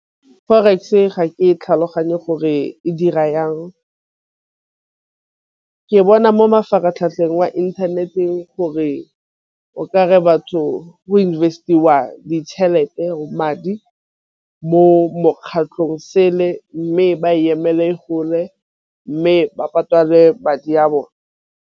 Forex ga ke e tlhaloganye gore e dira yang ke e bona mo mafaratlhatlheng wa inthaneteng gore o kare batho go invest-wa ditšhelete, madi mo mokgatlhong sele mme ba emele gole mme ba patale madi a bone.